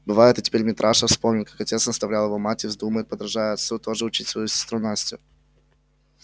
бывает и теперь митраша вспомнит как отец наставлял его мать и вздумает подражая отцу тоже учить свою сестру настю